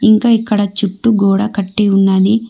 ఇంకా ఇక్కడ చుట్టూ గోడ కట్టి ఉన్నది.